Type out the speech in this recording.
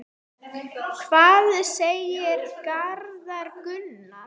Hvað segir Garðar Gunnar?